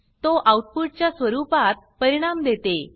तो आउटपुट च्या स्वरूपात परिणाम देते